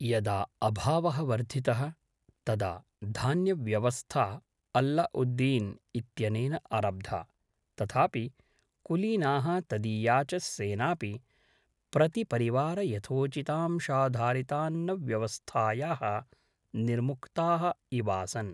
यदा अभावः वर्धितः तदा धान्यव्यवस्था अल्ल उद्दीन् इत्यनेन आरब्धा; तथापि कुलीनाः तदीया च सेनापि प्रतिपरिवारयथोचितांशाधारितान्नव्यवस्थायाः निर्मुक्ताः इवासन्।